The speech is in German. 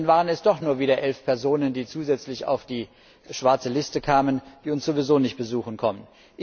Dann waren es doch nur wieder elf Personen, die zusätzlich auf die schwarze Liste kamen, die uns sowieso nicht besuchen kommen.